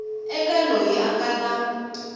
eka loyi a nga na